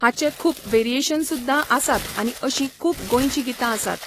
हाचे खूब वेरिएशन सुद्दां आसात आनी अशीं खूब गोंयची गितां आसात.